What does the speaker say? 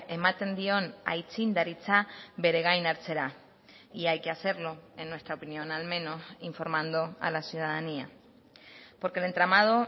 ematen dion aitzindaritza bere gain hartzera y hay que hacerlo en nuestra opinión al menos informando a la ciudadanía porque el entramado